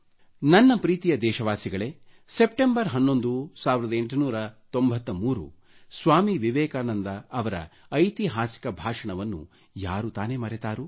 ನನ್ನ ಪ್ರೀತಿಯ ದೇಶವಾಸಿಗಳೆ 11ನೆ ಸೆಪ್ಟೆಂಬರ್ 1893 ಸ್ವಾಮಿ ವಿವೆಕಾನಂದ ಅವರ ಐತಿಹಾಸಿಕ ಭಾಷಣವನ್ನು ಯಾರು ತಾನೆ ಮರತಾರು